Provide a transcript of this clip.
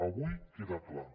avui queda clar